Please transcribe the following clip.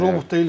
Robot deyilik.